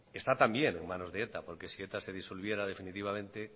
está también en manos de eta porque si eta se disolviera definitivamente